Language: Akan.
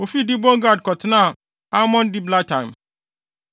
Wofii Dibon Gad kɔtenaa Almon Diblataim.